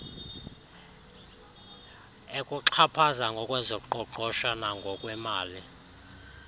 ekuxhaphaza ngokwezoqoqosho nangokwemali